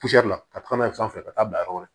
ka taa n'a ye so fɛ ka taa bila yɔrɔ wɛrɛ